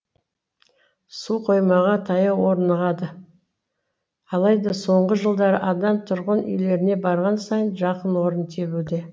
суқоймаға таяу орнығады алайда соңғы жылдары адам түрғын үйлеріне барған сайын жақын орын тебуде